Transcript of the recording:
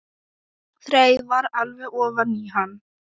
Þreifar alveg ofan í hann.